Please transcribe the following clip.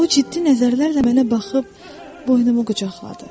O ciddi nəzərlərlə mənə baxıb boynumu qucaqladı.